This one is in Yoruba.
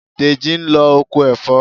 Dèjì ń lọ oko ẹ̀fọ́.